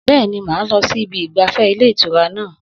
Bẹ́ẹ̀ni, mà á lọ sí ibi ìgbafẹ́ ilé ìtura náà